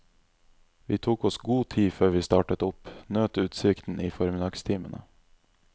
Vi tok oss god tid før vi startet opp, nøt utsikten i formiddagstimene.